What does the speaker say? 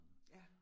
Ja